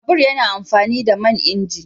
Babur yana amfani da man inji